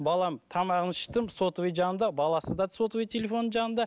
балам тамағын іштім сотовый жанында баласы да сотовый телефоны жанында